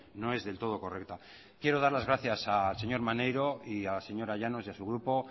no es del todo correcta quiero dar las gracias al señor maneiro y a la señora llanos y a su grupo